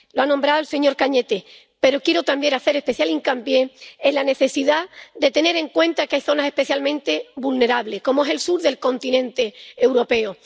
Lo ha mencionado el señor Arias Cañete, pero quiero también hacer especial hincapié en la necesidad de tener en cuenta que hay zonas especialmente vulnerables, como es el sur del continente europeo.